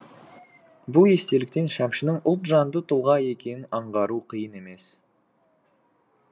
бұл естеліктен шәмшінің ұлтжанды тұлға екенін аңғару қиын емес